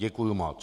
Děkuji moc.